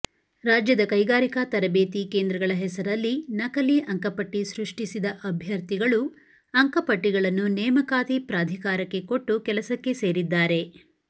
ರಾಜ್ಯದ ಕೈಗಾರಿಕಾ ತರಬೇತಿ ಕೇಂದ್ರಗಳ ಹೆಸರಲ್ಲಿ ನಕಲಿ ಅಂಕಪಟ್ಟಿ ಸೃಷ್ಟಿಸಿದ ಅಭ್ಯರ್ಥಿಗಳು ಅಂಕಪಟ್ಟಿಗಳನ್ನು ನೇಮಕಾತಿ ಪ್ರಾಧಿಕಾರಕ್ಕೆ ಕೊಟ್ಟು ಕೆಲಸಕ್ಕೆ ಸೇರಿದ್ದಾರೆ